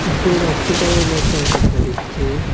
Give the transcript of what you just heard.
কিসু রাইস কুকারের বক্স রাখা দেখা যাইচ্চে।